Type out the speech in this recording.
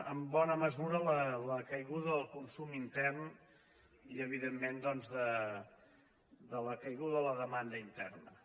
en bona mesura la caiguda del consum intern i evidentment doncs la caiguda de la demanda interna